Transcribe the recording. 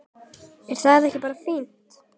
Er það ekki bara fínt?